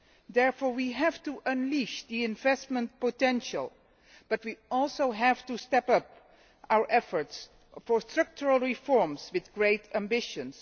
Therefore, we have to unleash the investment potential, but we also have to step up our efforts for structural reforms with great ambitions.